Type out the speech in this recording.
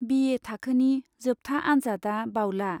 बि ए थाखोनि जोबथा आन्जादआ बावला।